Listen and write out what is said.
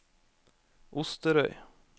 Osterøy